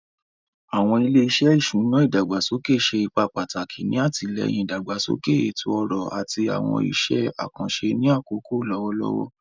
Awọn ile-iṣẹ iṣuna idagbasoke ṣe ipa pataki ni atilẹyin idagbasoke eto-ọrọ ati awọn iṣẹ akanṣe ni akoko lọwọlọwọ.